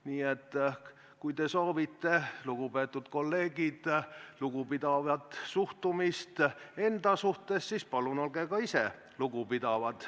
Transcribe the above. Nii et kui te soovite, lugupeetud kolleegid, lugupidavat suhtumist endasse, siis palun olge ka ise teiste suhtes lugupidavad.